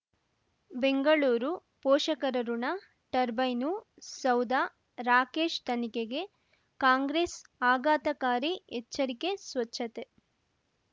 ಬೆಂಗಳೂರು ಪೋಷಕರಋಣ ಟರ್ಬೈನು ಸೌಧ ರಾಕೇಶ್ ತನಿಖೆಗೆ ಕಾಂಗ್ರೆಸ್ ಆಘಾತಕಾರಿ ಎಚ್ಚರಿಕೆ ಸ್ವಚ್ಛತೆ